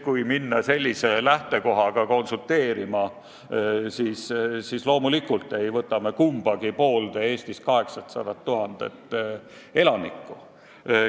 Kui minna sellise lähtekohaga konsulteerima, siis fakt on see, et loomulikult ei saa me kumbagi poolde Eestis 800 000 elanikku.